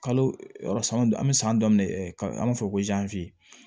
Kalo yɔrɔ san an bi san daminɛ an b'a fɔ ko